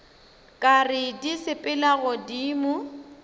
ka re di sepela godimo